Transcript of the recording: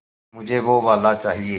मुझे वो वाला चाहिए